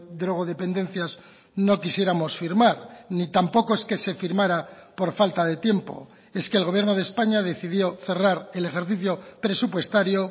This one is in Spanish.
drogodependencias no quisiéramos firmar ni tampoco es que se firmara por falta de tiempo es que el gobierno de españa decidió cerrar el ejercicio presupuestario